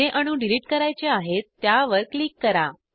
जे अणू डिलिट करायचे आहेत त्यावर क्लिक करा